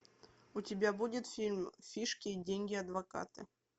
у тебя будет фильм фишки деньги адвокаты